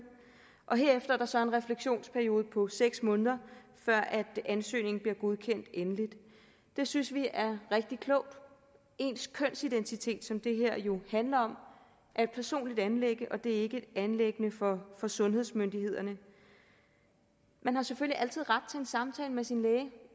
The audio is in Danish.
og herefter er der så en refleksionsperiode på seks måneder før ansøgningen bliver godkendt endeligt det synes vi er rigtig klogt ens kønsidentitet som det her jo handler om er et personligt anliggende det er ikke et anliggende for sundhedsmyndighederne man har selvfølgelig altid ret til en samtale med sin læge